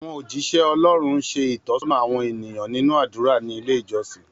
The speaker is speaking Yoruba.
Àwọn ójíṣẹ́ Ọlọ́run ń ṣe ìtọ́sọ́nà àwọn ènìyàn nínú àdúrà ní ilé ìjọsìn